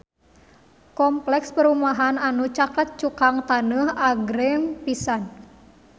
Kompleks perumahan anu caket Cukang Taneuh agreng pisan